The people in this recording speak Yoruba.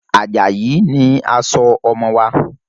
Ajayi ni a sọ ọmọ wa.